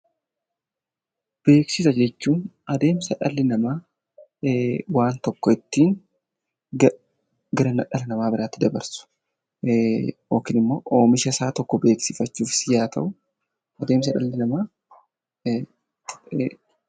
Beeksisa jechuun adeemsa dhalli namaa waan tokko ittiin gara dhala namaa biraatti dabarsu yookiin immoo oomisha isaa tokko beeksifachuuf deemsa dhalli namaa keessa darbudha.